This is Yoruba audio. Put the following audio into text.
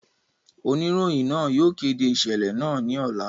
Onirohin naa yóò kede iṣẹlẹ naa ni ọla.